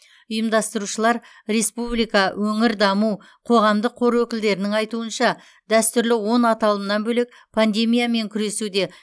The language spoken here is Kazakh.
ұйымдастырушылар республика өңір даму қоғамдық қоры өкілдерінің айтуынша дәстүрлі он аталымнан бөлек пандемиямен күресуде